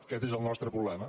aquest és el nostre problema